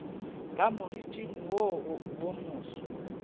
ka moriting wo wo moso